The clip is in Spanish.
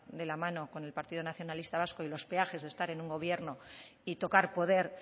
de la mano con el partido nacionalista vasco y los peajes de estar en un gobierno y tocar poder